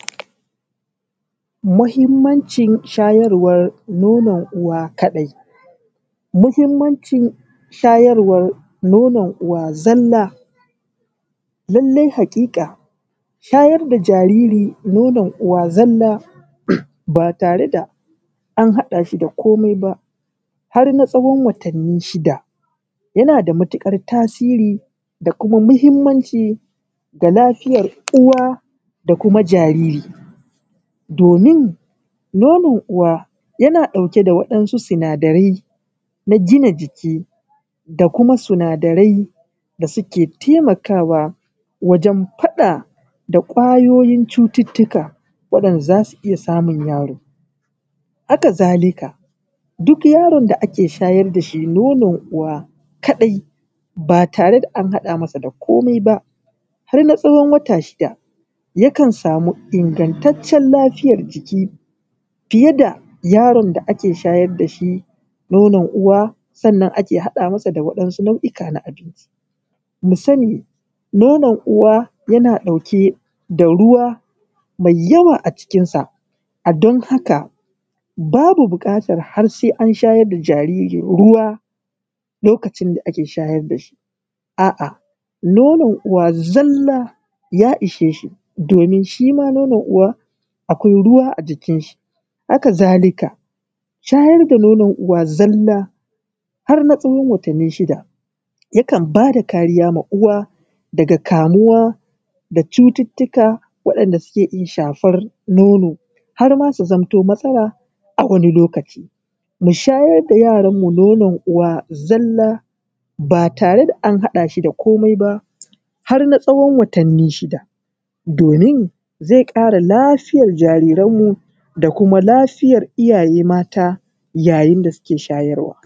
Muhimmancin shayarwa nonan uwa kadai, muhimmancin shayarwan nonan uwa zalla, lallai hakika shayar da jariri nonan uwa zalla ba tare da an haɗa shi da komai ba har na tsawon watanni shida yana da matukar tasiri da kuma muhmmanci ga lafiyar uwa da kuma jariri domin nonan uwa yana ɗauke da waɗansu sinadarai na gina jiki da kuma sinadarai da suke taimakawa wajen faɗa da ƙwayoyin cututtuka waɗanɗa zasu iya samun yaro haka zalika duk yaron da ake shayar da shi nonan uwa kadai ba tare da an haɗa masa da komai ba har na tsawon wata shida yakan samu ingantacen lafiyar jiki fiye da yaron da ake shayarwa dashi nonan uwa sannan ake haɗa mishi da waɗansu nau’ika na abinci, mu sani nonan uwa yana ɗauka da ruwa mai yawa a don haka babu bukatar sai an shayar da jariri ruwa lokacin da ake shayar da shi a’a nonan uwa ya ishe shi domin shima nonan uwa akwai ruwa a jikin shi, haka zalika shayar da nonan uwa zalla har na tsawon watanni shida yakan bada kariya ga uwa daga kamuwa da cututtuka waɗanɗa suke iya shafar nono har ma su zaamanto matsala a wani lokaci, mu shayar da yaron mu nonon uwa zalla ba tare da an haɗa shi da komai ba har na tsawon watanni shida domin zai kara lafiyar jariran mu da kuma lafiyar iyaye mata yayin da suke shayarwa.